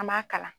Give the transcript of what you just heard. An b'a kalan